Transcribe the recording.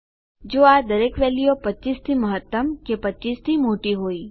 જો આ દરેક વેલ્યુઓ 25 થી મહત્તમ કે 25 થી મોટી હોય